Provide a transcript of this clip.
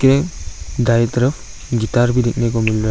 में दाये तरफ गितार भी देखने को मिल रहा है।